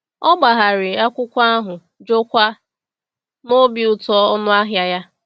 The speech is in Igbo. O gbagharị akwụkwọ ahụ, jụọkwa n’obi ụtọ ọnụ ahịa ya.